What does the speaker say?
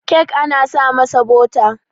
kek ana sa masa bota